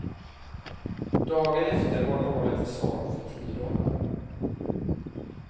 Dagen efter var nålen till salu för tio dollar.